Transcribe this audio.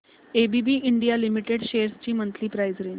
ABB India limited shares ची monthly price range